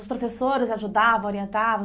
Os professores ajudavam, orientavam?